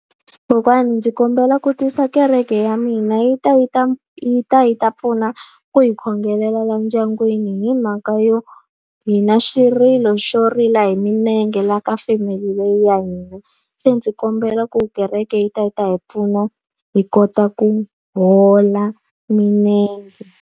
Kokwani ndzi kombela ku twisa kereke ya mina yi ta yi ta yi ta yi ta pfuna ku hi khongelela laha ndyangwini hi mhaka yo, hina xirilo xo xo rila hi milenge laha ka family leyi ya hina. Se ndzi kombela ku kereke yi ta yi ta hi pfuna hi kota ku hola milenge.